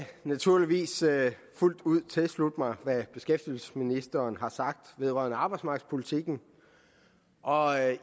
naturligvis fuldt ud tilslutte mig hvad beskæftigelsesministeren har sagt vedrørende arbejdsmarkedspolitikken og jeg